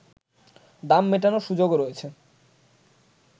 দাম মেটানোর সুযোগও রয়েছে